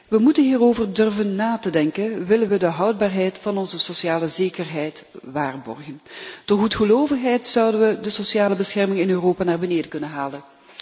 We moeten hierover durven nadenken, willen we de houdbaarheid van onze sociale zekerheid waarborgen. Door goedgelovigheid zouden we de sociale bescherming in Europa naar beneden kunnen halen.